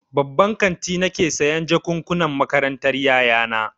Babban kanti nake sayan jakukkunan makarantar ƴaƴana.